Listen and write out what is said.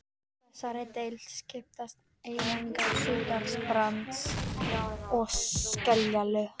Í þessari deild skiptast einnig á surtarbrands- og skeljalög.